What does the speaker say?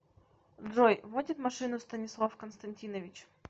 джой водит машину станислав константинович